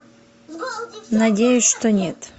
надеюсь что нет